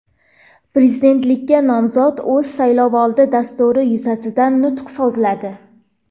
Prezidentlikka nomzod o‘z saylovoldi dasturi yuzasidan nutq so‘zladi.